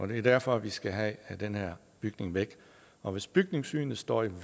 det er derfor vi skal have den her bygning væk og hvis bygningssynet står i